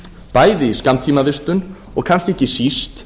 bæði i skammtímavistun og kannski ekki síst